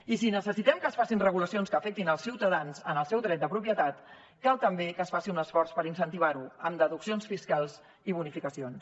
i si necessitem que es facin regulacions que afectin els ciutadans en el seu dret de propietat cal també que es faci un esforç per incentivar ho amb deduccions fiscals i bonificacions